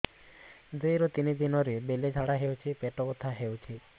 ଦୁଇରୁ ତିନି ଦିନରେ ବେଳେ ଝାଡ଼ା ହେଉଛି ପେଟ ବଥା ହେଉଛି